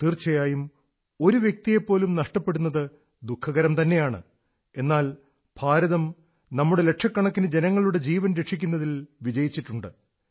തീർച്ചയായും ഒരു വ്യക്തിയെപ്പോലും നഷ്ടപ്പെടുന്നത് ദുഃഖകരം തന്നെയാണ് എന്നാൽ ഭാരതം നമ്മുടെ ലക്ഷക്കണക്കിനു ജനങ്ങളുടെ ജീവൻ രക്ഷിക്കുന്നതിൽ വിജയിച്ചിട്ടുണ്ട്